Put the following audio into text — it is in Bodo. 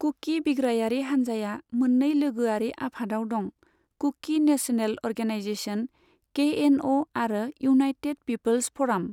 कुकी बिग्रायारि हान्जाया मोननै लोगोआरि आफादाव दं, Kuki national organization, K N O आरो इउनाइटेड पिपोल्स फ'राम।